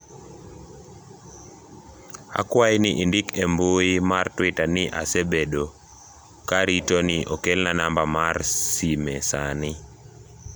akwayi ni indik e mbui mar twita ni asbedo ka arito ni okelna namba mar sime sani